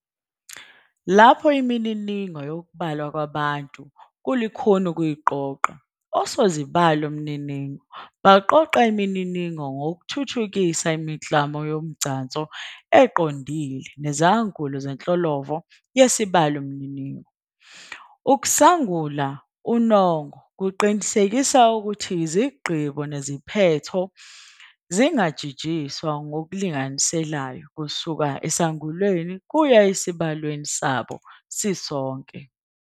Lapho imininingo yokubalwa kwabantu kulukhuni ukuyiqoqa, osozibalomininingo baqoqa imininingo ngokuthuthukisa imiklamo yomgcanso eqondile nezangulo zenhlolovo yesibalomininingo. Ukusangula unongo kuqinisekisa ukuthi izigqibo neziphetho zingajijiswa ngokulinganiselayo kusuka esangulweni kuya esibalweni sabo sisonke.